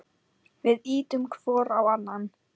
Við ýtum hvor á annan.